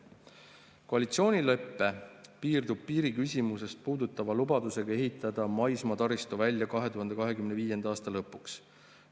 Koalitsioonilepe piirdub piiriküsimust puudutava lubadusega ehitada maismaataristu välja 2025. aasta lõpuks.